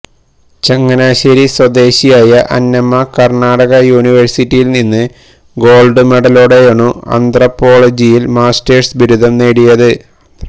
ചങ്ങനാശേരി സ്വന്ദേശിയായ അന്നമ്മ കര്ണാടക് യൂണിവേഴ്സിറ്റിയില് നിന്ന് ഗോള്ഡ് മെഡലോടെയാണു ആന്ത്രപ്പോളജിയില് മാസ്റ്റേഴ്സ് ബിരുദം നേടിയത്